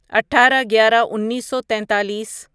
اٹھارہ گیارہ انیسو تیتالیس